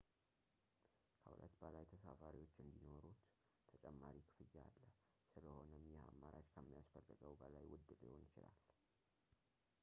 ከ 2 በላይ ተሳፋሪዎች እንዲኖሩዎት ተጨማሪ ክፍያ አለ ፣ ስለሆነም ይህ አማራጭ ከሚያስፈልገው በላይ ውድ ሊሆን ይችላል